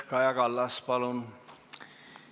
Kaja Kallas, palun!